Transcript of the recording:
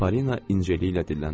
Polina incəliklə dilləndi.